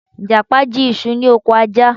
Ìjàpá jí isu ni ọkọ̀ Ajá